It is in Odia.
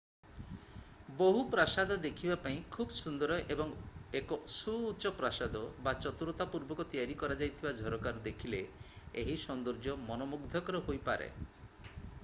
ବହୁ ପ୍ରାସାଦ ଦେଖିବା ପାଇଁ ଖୁବ୍ ସୁନ୍ଦର ଏବଂ ଏକ ସୁଉଚ୍ଚ ପ୍ରାସାଦ ବା ଚତୁରତାପୂର୍ବକ ତିଆରି କରାଯାଇଥିବା ଝରକାରୁ ଦେଖିଲେ ଏହି ସୌନ୍ଦର୍ଯ୍ୟ ମନମୁଗ୍ଧକର ହୋଇପାରେ